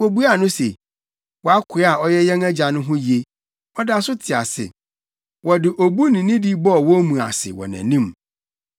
Wobuaa no se, “Wʼakoa a ɔyɛ yɛn agya no ho ye. Ɔda so te ase.” Wɔde obu ne nidi bɔɔ wɔn mu ase wɔ nʼanim.